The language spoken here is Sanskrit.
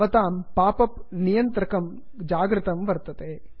भवतां पाप् अप् नियन्त्रकं जागृतं वर्तते